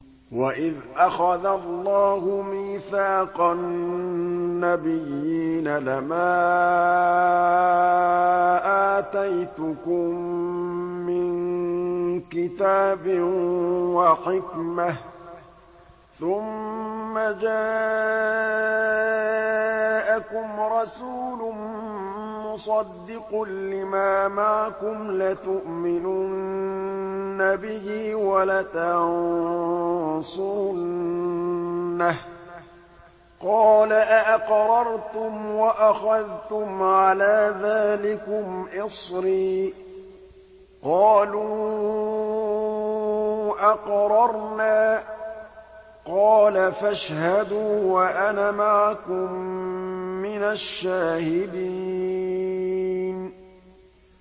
وَإِذْ أَخَذَ اللَّهُ مِيثَاقَ النَّبِيِّينَ لَمَا آتَيْتُكُم مِّن كِتَابٍ وَحِكْمَةٍ ثُمَّ جَاءَكُمْ رَسُولٌ مُّصَدِّقٌ لِّمَا مَعَكُمْ لَتُؤْمِنُنَّ بِهِ وَلَتَنصُرُنَّهُ ۚ قَالَ أَأَقْرَرْتُمْ وَأَخَذْتُمْ عَلَىٰ ذَٰلِكُمْ إِصْرِي ۖ قَالُوا أَقْرَرْنَا ۚ قَالَ فَاشْهَدُوا وَأَنَا مَعَكُم مِّنَ الشَّاهِدِينَ